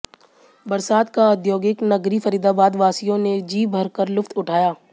बरसात का औद्योगिक नगरी फरीदाबाद वासियों ने जी भरकर लुत्फ उठाया